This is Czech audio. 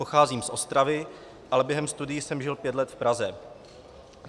Pocházím z Ostravy, ale během studií jsem žil pět let v Praze.